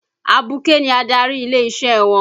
Abuké ni adarí ilé-isẹ́ wọn.